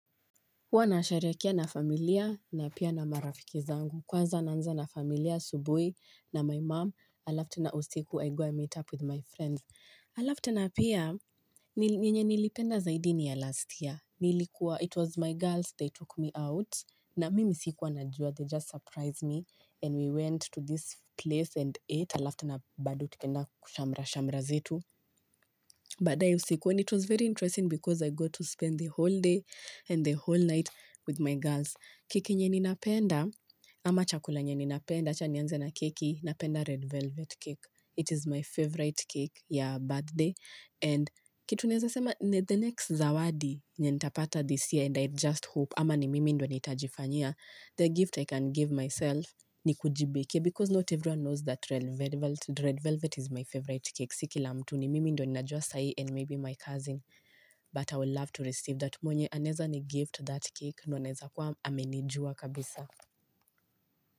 Huwa nasherehekea na familia na pia na marafiki zangu. Kwanza naanza na familia asubuhi na my mom. Alafu tena usiku I go and meet up with my friends. Alafu tena pia meal yenye nilipenda zaidi ni ya last year. Nilikuwa it was my girls they took me out. Na mimi sikuwa najua they just surprised me. And we went to this place and ate. Alafu tena bado tukaenda kushamra-shamra zetu. Badaye usiku and it was very interesting because I got to spend the whole day and the whole night with my girls. Keki yenye ninapenda, ama chakula yenye ninapenda, acha nianze na keki, napenda red velvet cake. It is my favorite cake ya birthday. And kitu naeza sema, the next zawadi yenye nitapata this year and I just hope, ama ni mimi ndo nitajifanyia, the gift I can give myself ni kujibake because not everyone knows that red velvet is my favorite cake. Si kila mtu ni mimi ndo ni najua sai and maybe my cousin. But I will love to receive that mwenye aneza ni gift that cake ndo naeza kuwa amenijua kabisa.